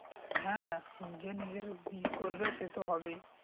হ্যা যে নিজের ই করবে সে তো হবেই